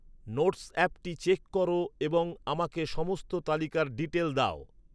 notes অ্যাপটি check কর এবং আমাকে সমস্ত তালিকার ডিটেল দাও